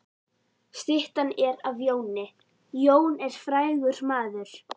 Styttan er af Jóni. Jón er frægur maður.